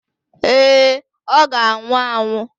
Èé, ọ ga-anwụ anwụ.